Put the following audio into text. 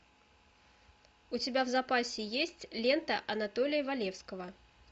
у тебя в запасе есть лента анатолия валевского